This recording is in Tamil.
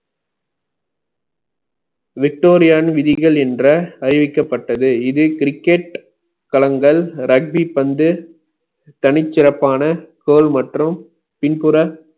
விக்டோரியாவின் விதிகள் என்ற அறிவிக்கப்பட்டது இது cricket கலங்கள் ரக்டி பந்து தனிச் சிறப்பான தோல் மற்றும் பின்புற